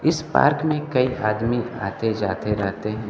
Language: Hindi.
इस पार्क में कई आदमी आते जाते रहते हैं।